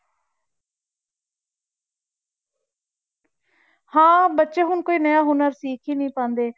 ਹਾਂ ਬੱਚੇ ਹੁਣ ਕੋਈ ਨਵਾਂ ਹੁਨਰ ਸਿੱਖ ਹੀ ਨੀ ਪਾਉਂਦੇ।